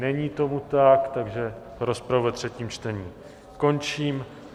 Není tomu tak, takže rozpravu ve třetím čtení končím.